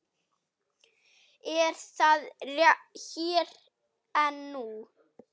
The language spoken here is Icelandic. Er það hér og nú?